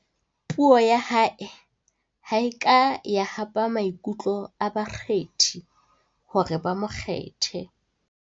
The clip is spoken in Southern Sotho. Puo ya hae ha e a ka ya hapa maikutlo a bakgethi hore ba mo kgethe.